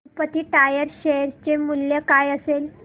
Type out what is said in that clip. Tirupati tyres share चे मूल्य काय असेल